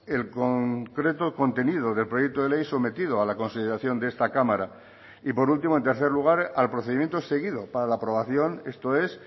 el concreto contenido del proyecto de ley sometido a la consideración de esta cámara y por último en tercer lugar al procedimiento seguido para la aprobación esto es